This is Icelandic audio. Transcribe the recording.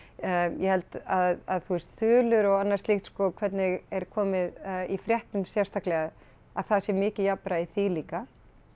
ég held að þú veist þulir og annað slíkt sko hvernig er komið í fréttum sérstaklega að það sé mikið jafnræði í því líka